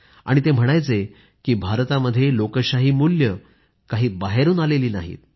आणि ते म्हणायचे की भारतामध्ये लोकशाही मूल्ये काही बाहेरून आलेली नाहीत